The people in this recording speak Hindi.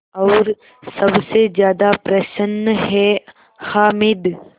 और सबसे ज़्यादा प्रसन्न है हामिद